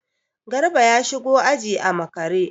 Garba ya shigo aji a makare.